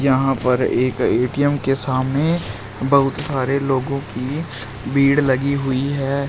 यहां पर एक ए_टी_एम के सामने बहुत सारे लोगों की भीड़ लगी हुई है।